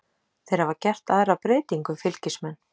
Þeir hafa gert aðra breytingu Fylkismenn.